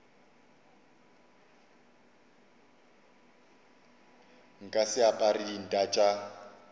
nka se apare dinta tša